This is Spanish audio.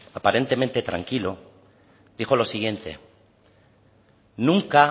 aparentemente tranquilo dijo lo siguiente nunca